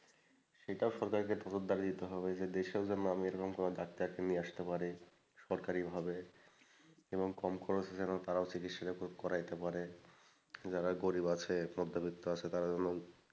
সেটাও সরকারকে নজরদারি দিতে হবে দেশেও যেন আমি এরকম কোন ডাক্তারকে নিয়ে আসতে পারি সরকারিভাবে এবং কম খরচে যেন তারাও চিকিৎসাটাও করাইতে পারে যারা গরীব আছে মধ্যবিত্ত আছে তারা যেন,